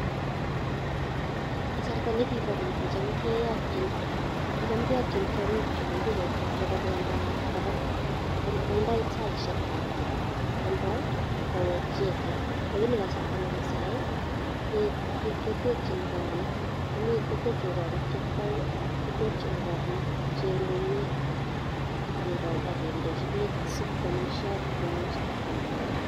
Kasarta nekibo keny ko kicham keyotyin tiongik akitio kobendat kobaa, ko ibdoi saishekab kemoi kowek icheket lakini kasarta nebo saii ketekyin korik chekiboen, kitekyin korik chemung'en ak kindenchi beek sikwomishen ak komung'so kitio ak koee beek.